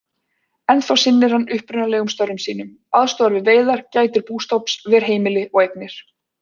Ennþá sinnir hann upprunalegum störfum sínum, aðstoðar við veiðar, gætir bústofns, ver heimili og eignir.